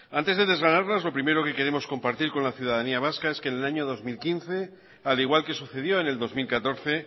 antes de desganarlas lo primero que queremos compartir con la ciudadanía vasca es que en el año dos mil quince al igual que sucedió en el dos mil catorce